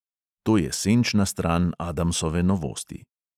To je senčna stran adamsove novosti.